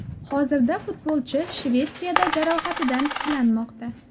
Hozirda futbolchi Shvetsiyada jarohatidan tiklanmoqda.